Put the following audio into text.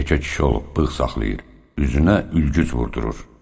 Yekə kişi olub bığ saxlayır, üzünə ülgüc vurdurur.